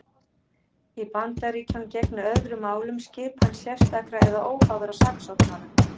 Í Bandaríkjunum gegnir öðru máli um skipan sérstakra eða óháðra saksóknara.